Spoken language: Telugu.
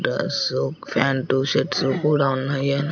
డ్రెస్ ఫ్యాన్టు షర్ట్స్ కూడా ఉన్నాయి.